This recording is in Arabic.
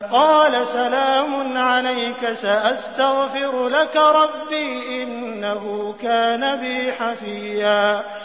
قَالَ سَلَامٌ عَلَيْكَ ۖ سَأَسْتَغْفِرُ لَكَ رَبِّي ۖ إِنَّهُ كَانَ بِي حَفِيًّا